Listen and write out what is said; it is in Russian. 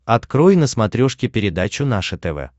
открой на смотрешке передачу наше тв